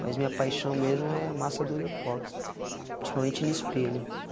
Mas minha paixão mesmo é massa durepoxi, principalmente em espelho.